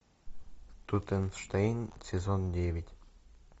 тутенштейн сезон девять